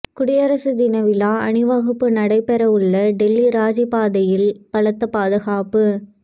குடியரசு தின விழா அணிவகுப்பு நடைபெறவுள்ள டெல்லி ராஜபாதையில் பலத்த பாதுகாப்பு